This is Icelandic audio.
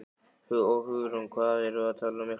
Hugrún: Og hvað erum við að tala um mikla fjölgun?